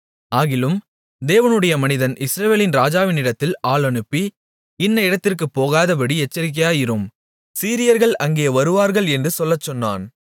ஆகிலும் தேவனுடைய மனிதன் இஸ்ரவேலின் ராஜாவினிடத்தில் ஆள் அனுப்பி இன்ன இடத்திற்குப் போகாதபடி எச்சரிக்கையாயிரும் சீரியர்கள் அங்கே வருவார்கள் என்று சொல்லச்சொன்னான்